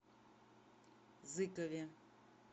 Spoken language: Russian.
зыкове